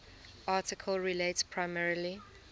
article relates primarily